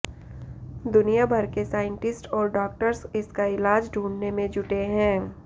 दुनिया भर के साइंटिस्ट और डॉक्टर्स इसका इलाज ढूंढने में जुटे हैं